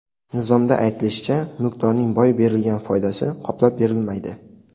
Nizomda aytilishicha, mulkdorning boy berilgan foydasi qoplab berilmaydi.